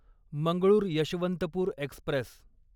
Mangalore Yesvantpur Express